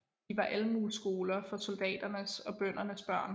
De var Almueskoler for soldaternes og bøndernes børn